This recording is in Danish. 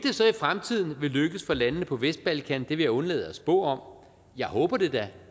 så i fremtiden vil lykkes for landene på vestbalkan vil jeg undlade at spå om jeg håber det da